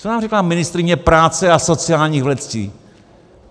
Co nám řekla ministryně práce a sociálních věcí?